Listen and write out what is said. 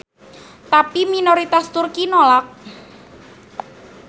Tapi minoritas Turki nolak.